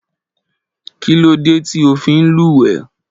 Kí ló dé tí o fí ń lúwẹ̀ẹ́?